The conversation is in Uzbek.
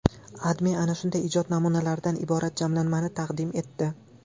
AdMe ana shunday ijod namunalaridan iborat jamlanmani taqdim etdi .